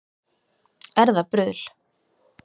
Er það bruðl